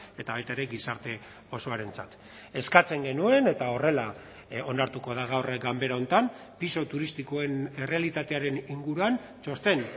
eta baita ere gizarte osoarentzat eskatzen genuen eta horrela onartuko da gaur ganbera honetan pisu turistikoen errealitatearen inguruan txosten